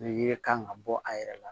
Ni yiri kan ka bɔ a yɛrɛ la